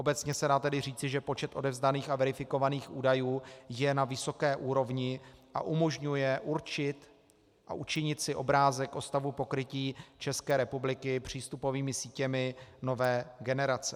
Obecně se tedy dá říci, že počet odevzdaných a verifikovaných údajů je na vysoké úrovni a umožňuje určit a učinit si obrázek o stavu pokrytí České republiky přístupovými sítěmi nové generace.